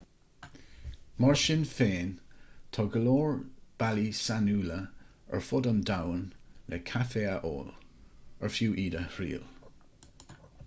mar sin féin tá go leor bealaí sainiúla ar fud an domhain le caife a ól ar fiú iad a thriail